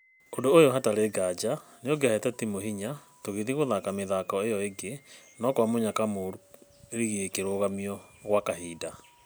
ũndũ ũyũ hatarĩ ngaja nĩũngĩahete timũ hinya tũgĩthiĩ gũthaka mĩthako ĩo ĩngĩ no kwa mũnyaka mũru rigi ĩkĩrũgamio kwa kahinda.